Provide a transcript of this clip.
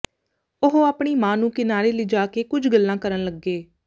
ਉਹ ਆਪਣੀ ਮਾਂ ਨੂੰ ਕਿਨਾਰੇ ਲਿਜਾ ਕੇ ਕੁਝ ਗੱਲਾਂ ਕਰਨ ਲੱਗੇ